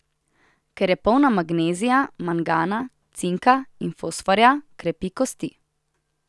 Ker je polna magnezija, mangana, cinka in fosforja, krepi kosti.